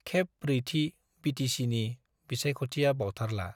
खेब ब्रैथि बिटिचिनि बिसायख'थिया बावथारला।